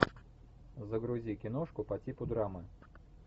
загрузи киношку по типу драмы